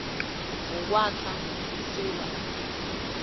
wokwakha isewula afrika